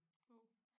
Wow